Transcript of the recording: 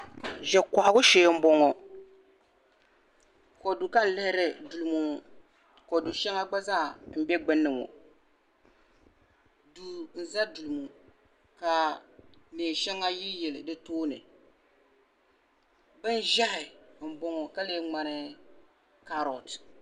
ʒe kohigu shee m bɔŋɔ kodu ka n lihiri duu ŋɔni ŋɔ kodu shɛŋa gba zaa m be gbunni ŋɔni ŋɔ duu n za ka neen shɛŋa yili yili di tooni bin ʒehi m bɔŋɔ ka lee ŋmani kaaroti